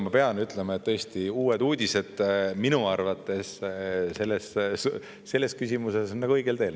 Ma pean ütlema, et tõesti Uued Uudised minu arvates selles küsimuses on õigel teel.